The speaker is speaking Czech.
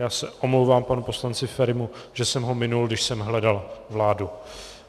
Já se omlouvám panu poslanci Ferimu, že jsem ho minul, když jsem hledal vládu.